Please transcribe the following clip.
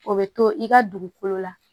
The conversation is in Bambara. O bɛ to i ka dugukolo la